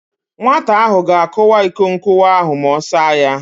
Nwata ahụ ga-akụwa iko nkụwa ahụ ma ọ saa ya.